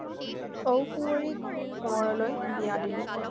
ঔ-কুঁৱৰীক কোঁৱৰলৈ বিয়া দিলে